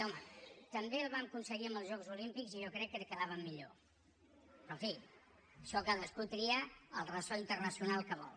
home també el vam aconseguir amb els jocs olímpics i jo crec que quedàvem millor però en fi això cadascú tria el ressò internacional que vol